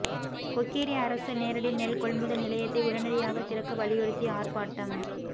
கொக்கேரி அரசு நேரடி நெல் கொள்முதல் நிலையத்தை உடனடியாக திறக்க வலியுறுத்தி ஆா்ப்பாட்டம்